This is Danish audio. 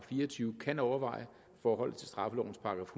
fire og tyve kan overveje forholdet til straffelovens §